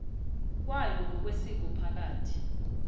kwayo ngokwesiko phakathi